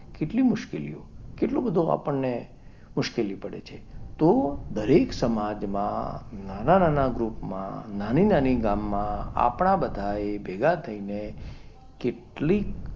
કેટલી મુશ્કેલીઓ કેટલો બધો આપણને મુશ્કેલી પડે છે. તો દરેક સમાજમાં નાના નાના ગ્રુપમાં, નાની નાની ગામમાં આપણા બધાએ ભેગા થઈને કેટલીક,